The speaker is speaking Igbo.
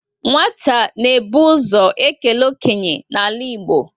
Nwata na ebu ụzọ ekele okenye n'ala Igbo